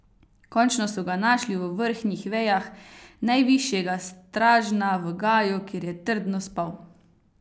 Končno so ga našli v vrhnjih vejah najvišjega stražna v gaju, kjer je trdno spal.